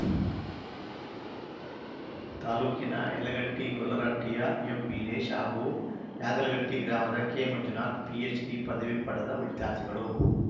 ತಾಲೂಕಿನ ಯಲಗಟ್ಟೆ ಗೊಲ್ಲರಹಟ್ಟಿಯ ಎಂವೀರೇಶ್‌ ಹಾಗೂ ಯಾದಲಗಟ್ಟೆ ಗ್ರಾಮದ ಕೆಮಂಜುನಾಥ ಪಿಎಚ್‌ಡಿ ಪದವಿ ಪಡೆದ ವಿದ್ಯಾರ್ಥಿಗಳು